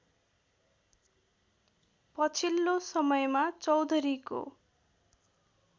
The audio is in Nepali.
पछिल्लो समयमा चौधरीको